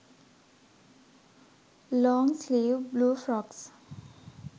long sleeve blue frocks